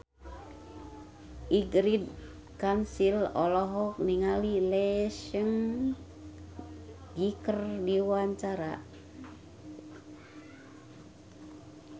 Ingrid Kansil olohok ningali Lee Seung Gi keur diwawancara